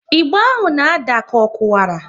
Ịgba ahụ na ada ka ọ kuwara